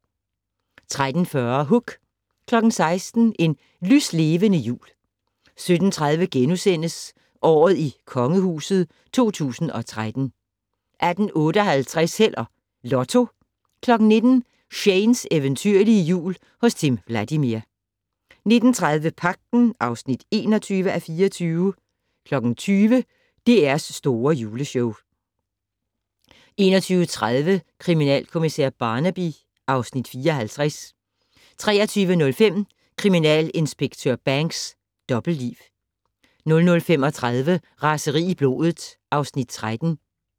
13:40: Hook 16:00: En lyslevende jul 17:30: Året i Kongehuset 2013 * 18:58: Held og Lotto 19:00: Shanes eventyrlige Jul hos Timm Vladimir 19:30: Pagten (21:24) 20:00: DR's Store Juleshow 21:30: Kriminalkommissær Barnaby (Afs. 54) 23:05: Kriminalinspektør Banks: Dobbeltliv 00:35: Raseri i blodet (Afs. 13)